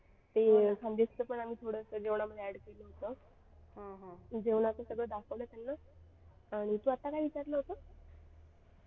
ते खानदेशचं पण जेवण आम्ही थोडं add केलं होतं जेवणाचं सगळं दाखवलं त्यांना आणि तू आता काय विचारलं होतं.